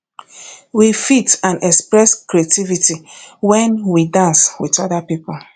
we fit and express creativity when we dance with oda pipo